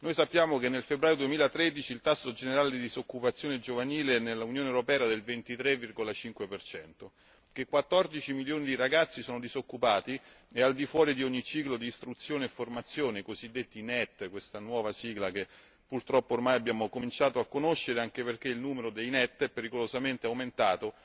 Sappiamo che nel febbraio 2013 il tasso generale di disoccupazione giovanile nell'Unione europea corrispondeva al 23,5 percento, che 14 milioni di ragazzi sono disoccupati e al di fuori di ogni ciclo di istruzione e formazione, i cosiddetti neet questa nuova sigla che purtroppo abbiamo ormai cominciato a conoscere, anche perché il numero dei neet è pericolosamente aumentato